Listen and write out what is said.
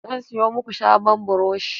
Zan siyo maku sabon buroshi